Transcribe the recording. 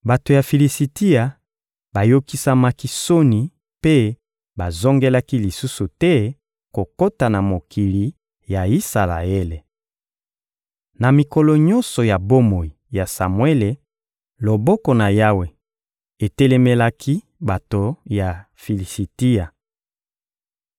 Bato ya Filisitia bayokisamaki soni mpe bazongelaki lisusu te kokota na mokili ya Isalaele. Na mikolo nyonso ya bomoi ya Samuele, loboko na Yawe etelemelaki bato ya Filisitia.